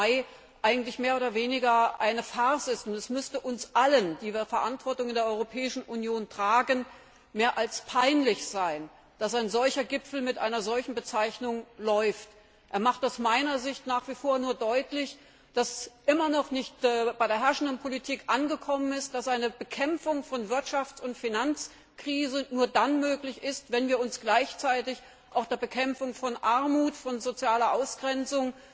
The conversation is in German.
7. Mai eigentlich mehr oder weniger eine Farce ist, und es müsste uns allen, die wir Verantwortung in der Europäischen Union tragen, mehr als peinlich sein, dass ein solcher Gipfel unter einer solchen Bezeichnung läuft. Er macht aus meiner Sicht nach wie vor nur deutlich, dass bei der herrschenden Politik immer noch nicht angekommen ist, dass eine Bekämpfung der Wirtschafts und Finanzkrise nur dann möglich ist, wenn sie gleichzeitig mit der Bekämpfung von Armut, sozialer Ausgrenzung